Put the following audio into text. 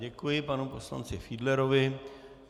Děkuji panu poslanci Fiedlerovi.